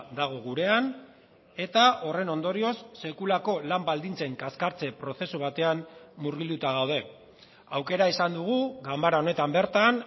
dago gurean eta horren ondorioz sekulako lan baldintzen kaskartze prozesu batean murgilduta gaude aukera izan dugu ganbara honetan bertan